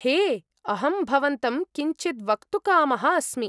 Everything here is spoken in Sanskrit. हे! अहं भवन्तं किञ्चिद् वक्तुकामः अस्मि।